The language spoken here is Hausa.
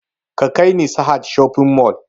Ka kai ni sahad shopping mall!